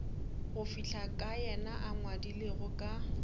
ka yena a ngwadilego ka